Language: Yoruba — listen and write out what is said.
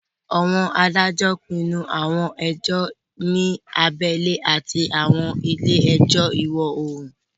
Àwọn adájọ́ pinnu àwọn ẹjọ́ ní abẹ́lé àti àwọn ilé ẹjọ́ ìwọ-oòrùn